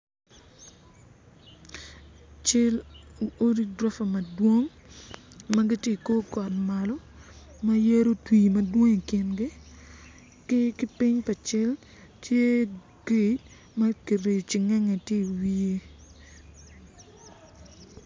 cel odi gurofa madwong ma giti i kor got malo ma yadi otwi madong i kingi ki ki piny pa cal tye gate ma kriyo cengenge ti iwiye